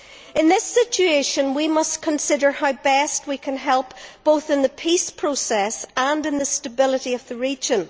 In this situation, we must consider how best we can help, both in the peace process and in the stability of the region.